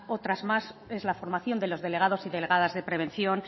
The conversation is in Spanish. otra más es la formación de los delegados y delegadas de prevención